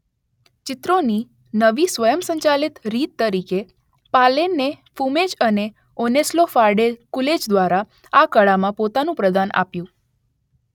ચિત્રોની નવી સ્વયંસંચાલિત રીત તરીકે પાલેનને ફુમેઝ અને ઓનસ્લો ફાર્ડે કુલેજ દ્વારા આ કળામાં પોતાનું પ્રદાન આપ્યું